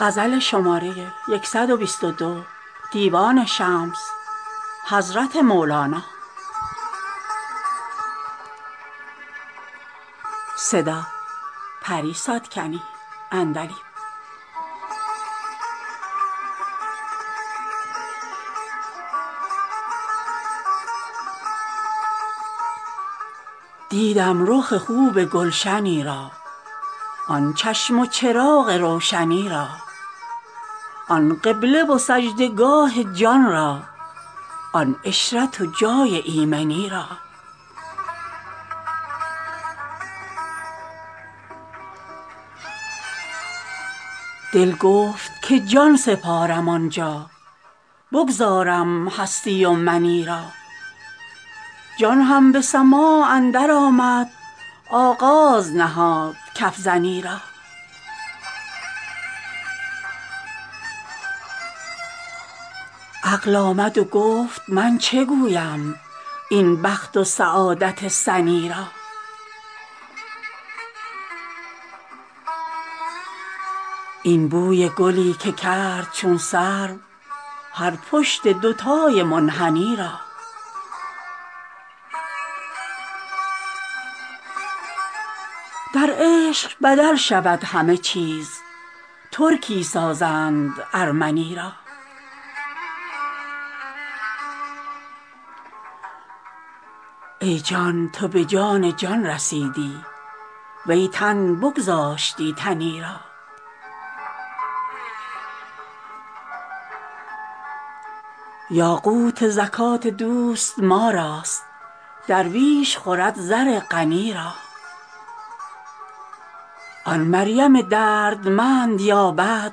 دیدم رخ خوب گلشنی را آن چشم و چراغ روشنی را آن قبله و سجده گاه جان را آن عشرت و جای ایمنی را دل گفت که جان سپارم آن جا بگذارم هستی و منی را جان هم به سماع اندرآمد آغاز نهاد کف زنی را عقل آمد و گفت من چه گویم این بخت و سعادت سنی را این بوی گلی که کرد چون سرو هر پشت دوتای منحنی را در عشق بدل شود همه چیز ترکی سازند ارمنی را ای جان تو به جان جان رسیدی وی تن بگذاشتی تنی را یاقوت زکات دوست ما راست درویش خورد زر غنی را آن مریم دردمند یابد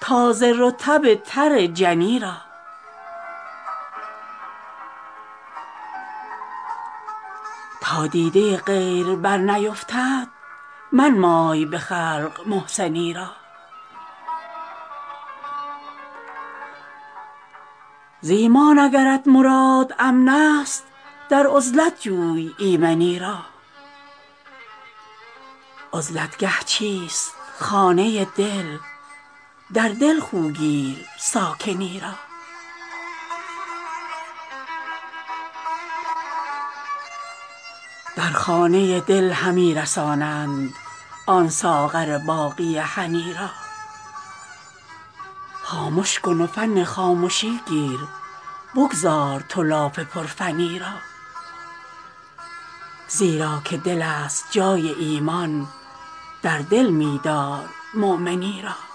تازه رطب تر جنی را تا دیده غیر برنیفتد منمای به خلق محسنی را ز ایمان اگرت مراد امنست در عزلت جوی ایمنی را عزلت گه چیست خانه دل در دل خو گیر ساکنی را در خانه دل همی رسانند آن ساغر باقی هنی را خامش کن و فن خامشی گیر بگذار تو لاف پرفنی را زیرا که دلست جای ایمان در دل می دارمؤمنی را